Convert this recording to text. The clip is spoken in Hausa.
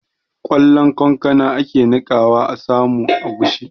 Ƙwallon kankana ake niƙawa a samu agushi